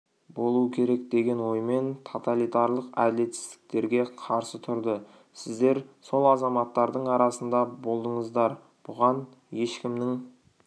болу керек деген оймен тоталитарлық әділетсіздіктерге қарсы тұрды сіздер сол азаматтардың арасында болдыңыздар бұған ешкімнің